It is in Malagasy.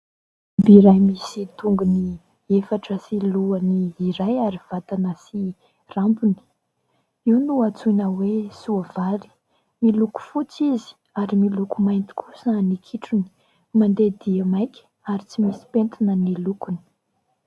Biby iray misy tongony efatra sy lohany iray ary vatana sy rambony, io no antsoina hoe : soavaly. Miloko fotsy izy ary miloko mainty kosa ny kitrony. Mandeha dia maika ary tsy misy pentina ny lokony.